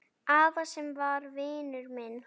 Afa sem var vinur minn.